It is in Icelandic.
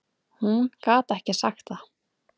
Hún gat ekki sagt það.